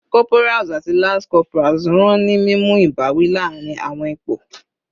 Corporals ati lance corporals ran ni mimu ibawi laarin awọn ipo